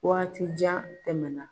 Waati jan tɛmɛna.